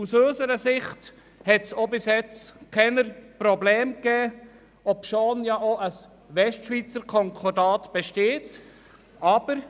Aus unserer Sicht hat es bis jetzt keine Probleme gegeben, obschon ein Westschweizer Konkordat besteht .